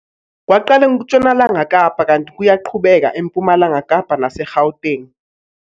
Kwaqala eNtshonalanga Kapa kanti kuyaqhubeka eMpumalanga Kapa nase-Gauteng.